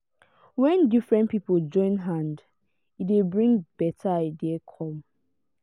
when different pipo join hand e dey bring better idea come